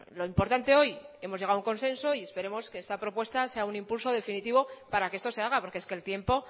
lo importante hoy hemos llegado a un consenso y esperamos que esta propuesta sea un impulso definitivo para que esto se haga porque es que el tiempo